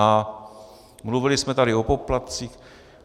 A mluvili jsme tady o poplatcích.